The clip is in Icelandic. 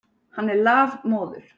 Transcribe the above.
Hann er lafmóður.